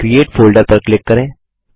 create folder पर click करें